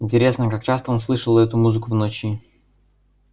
интересно как часто он слышал эту музыку в ночи